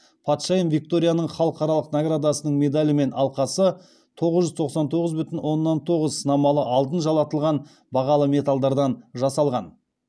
патшайым викторияның халықаралық наградасының медалі мен алқасы тоғыз жүз тоқсан тоғыз бүтін оннан тоғыз сынамалы алтын жалатылған бағалы металдардан жасалған